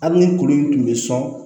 Hali ni kuru in tun bɛ sɔn